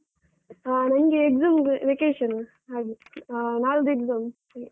ಹ ನಂಗೆ exam ದು vacation ಹಾಗೆ. ಆ ನಾಡ್ದು exam .